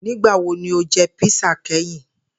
Nigbawo ni o jẹ písà kẹhin?